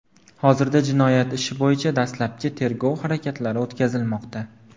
Hozirda jinoyat ishi bo‘yicha dastlabki tergov harakatlari o‘tkazilmoqda.